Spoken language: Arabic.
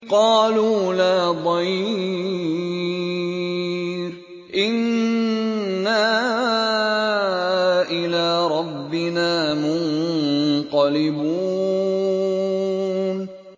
قَالُوا لَا ضَيْرَ ۖ إِنَّا إِلَىٰ رَبِّنَا مُنقَلِبُونَ